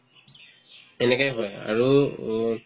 এনেকাই হয় আৰু উম